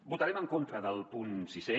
votarem en contra del punt sisè